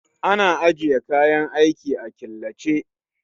Ana ajiye kayan aiki a killace